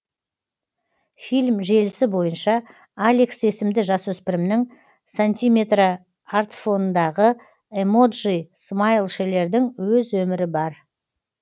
фильм желісі бойынша алекс есімді жасөспірімнің сантиметрартфонындағы эмоджи смайлшелердің өз өмірі бар